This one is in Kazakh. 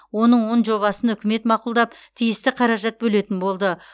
оның он жобасын үкімет мақұлдап тиісті қаражат бөлетін болды